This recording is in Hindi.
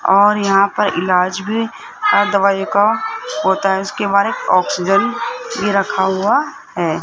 और यहां पर इलाज भी और दवाई का होता है इसके बारे में ऑक्सीजन भी रखा हुआ है।